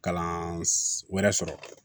Kalan wɛrɛ sɔrɔ